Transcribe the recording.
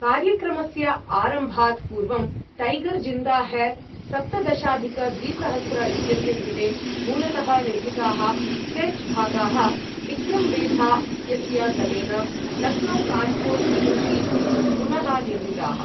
कार्यक्रमस्य आरम्भात् पूर्वं, टैगर् ज़िन्दा है सप्तदशाधिकद्विसहस्र इत्यस्य कृते मूलतः निर्मिताः सेट् भागाः, विक्रं वेधा इत्यस्य दलेन लक्नौ कान्पूर् सदृशीभवितुं पुनः निर्मिताः।